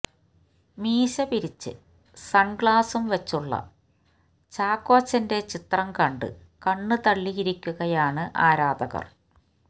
മീശപിരിച്ച് സൺഗ്ലാസും വച്ചുള്ള ചാക്കോച്ചന്റെ ചിത്രം കണ്ട് കണ്ണ് തള്ളിയിരിക്കുകയാണ് ആരാധകർ